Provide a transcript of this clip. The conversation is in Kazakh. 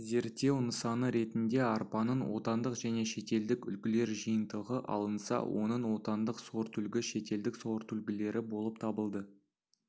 зерттеу нысаны ретінде арпаның отандық және шетелдік үлгілер жиынтығы алынса оның отандық сортүлгі шетелдік сортүлгілері болып табылды